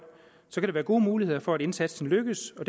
være gode muligheder for at indsatsen lykkes og